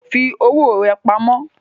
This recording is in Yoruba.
Fi owó rà pamó